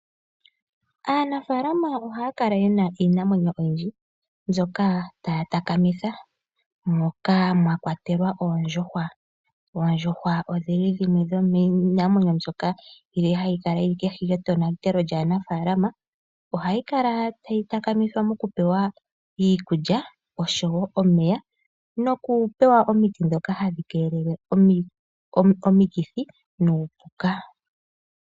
Aanafalama ohaya kala yena iinamwenyo oyindji mbyoka taya takamitha moka mwa kwatelwa oondjuhwa, oondjuhwa odhili dhimwe dhomiinamwenyo mbyono hayi kala yili kohi yetonatelo lya nafaalama, ohayi kala tayi takamithwa nokupewa iikulya oshowo omeya noku pewa omiti dhoka hadhi kelele omikithi nuupuka